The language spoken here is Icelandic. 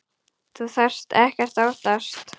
Þú þarft ekkert að óttast.